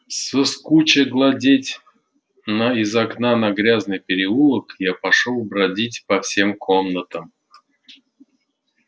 соскуча глядеть из окна на грязный переулок я пошёл бродить по всем комнатам